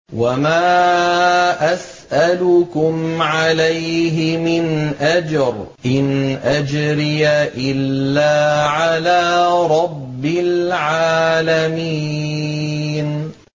وَمَا أَسْأَلُكُمْ عَلَيْهِ مِنْ أَجْرٍ ۖ إِنْ أَجْرِيَ إِلَّا عَلَىٰ رَبِّ الْعَالَمِينَ